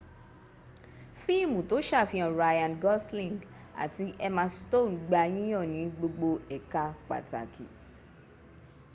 fíìmú tó sàfihàn ryan gosling àti emma stone gba yíyàn nì gbogbo éka pàtàkì